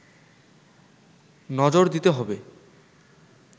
নজর দিতে হবে